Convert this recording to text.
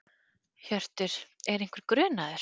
Hjörtur: Er einhver grunaður?